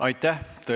Aitäh!